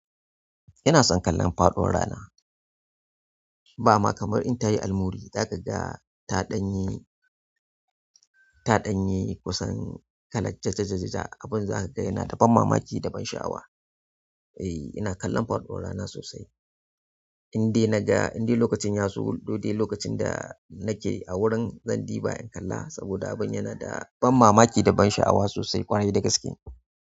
Ina son kallon faɗuwan rana. Ba ma kamar in ta yi almuri, za ka ga ta ɗanyi, ta ɗanyibkusan kalat jajjajaja. Abin za ka ga yana da ban mamaki da ban sha'awa. Eh, ina kallon faduwar rana sosai. Indai naga, indai lokacin ya zo, lodai lokacin da nake a wurin, zan ɗiba in kalla saboda abin yana da ban mamaki da ban sha'awa sosai ƙwarai da gaske.